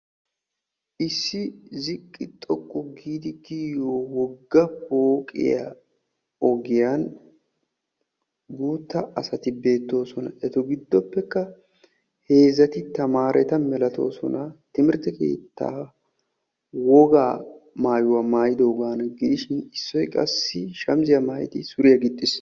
issi ziqqi xoqqu giid kiyiyyo wogga pooqiyaa ogiyaan guutta asati beettoosona. Eta giddoppekka heezzati tamaretta timirtte keetta woga maayuwaa maayyidoogana gidishin issoy qassi shamissiya maayidi suriyaa gixiis.